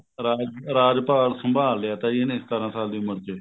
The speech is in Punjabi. ਰਾਜ ਰਾਜ ਭਾਗ ਸੰਭਾਲ ਲਿਆ ਤਾਂ ਇਹਨੇ ਸਤਾਰਾਂ ਦੀ ਸਾਲ ਸੀ ਉਮਰ ਚ